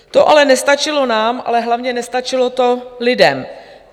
To ale nestačilo nám, ale hlavně nestačilo to lidem.